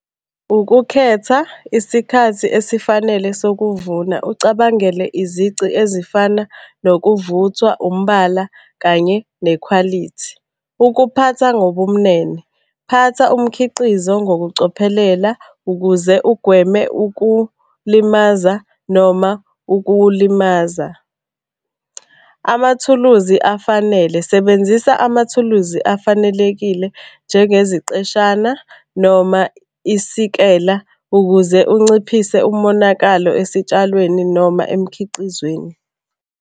Ukukhetha isikhathi esifanele sokuvuna ucabangele izici ezifana nokuvuthwa, umbala kanye nekhwalithi. Ukuphatha ngobumnene, phatha umkhiqizo ngokucophelela ukuze ugweme ukulimaza noma ukulimaza. Amathuluzi afanele, sebenzisa amathuluzi afanelekile njengeziqeshana noma isikela ukuze unciphise umonakalo esitshalweni noma emkhiqizweni.